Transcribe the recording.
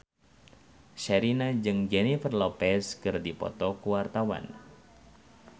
Sherina jeung Jennifer Lopez keur dipoto ku wartawan